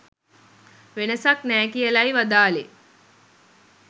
වෙනසක් නෑ කියලයි වදාළේ